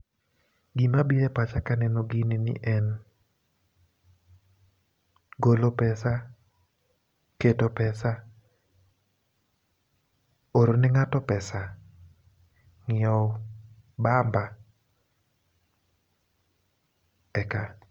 Gima biro e pacha kaneno gini ni en golo pesa, keto pesa, oro ne ng'ato pesa, ng'iewo bamba, eka.